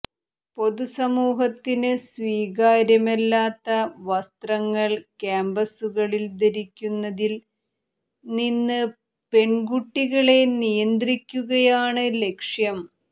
പൊതുസമൂഹത്തിന് സ്വീകാര്യമല്ലാത്ത വസ്ത്രങ്ങൾ ക്യാമ്പസുകളിൽ ധരിക്കുന്നതിൽ നിന്ന് പെൺകുട്ടികളെ നിയന്ത്രിക്കുകയാണ് ലക്ഷ്യം